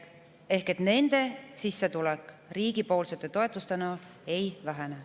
Ehk nende sissetulek, mida makstakse riigi toetustena, ei vähene.